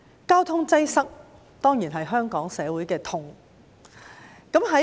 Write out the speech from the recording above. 交通擠塞當然是香港社會的痛。